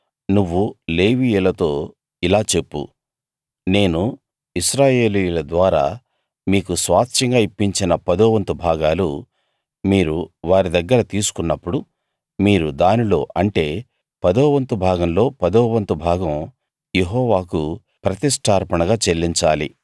నువ్వు లేవీయులతో ఇలా చెప్పు నేను ఇశ్రాయేలీయుల ద్వారా మీకు స్వాస్థ్యంగా ఇప్పించిన పదోవంతు భాగాలు మీరు వారి దగ్గర తీసుకున్నప్పుడు మీరు దానిలో అంటే ఆ పదోవంతు భాగంలో పదోవంతు భాగం యెహోవాకు ప్రతిష్ఠార్పణగా చెల్లించాలి